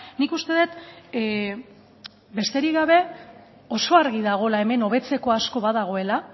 nik uste dut besterik gabe oso argi dagoela hemen hobetzeko asko badagoela